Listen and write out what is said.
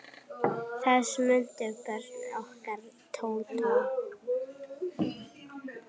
Þess nutu börnin okkar Tótu.